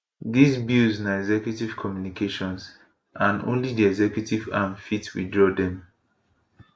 dis bills na executive communications and only di executive arm fit withdraw dem